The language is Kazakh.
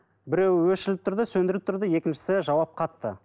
біреуі өшіріліп тұрды сөндірулі тұрды екіншісі жауап қатты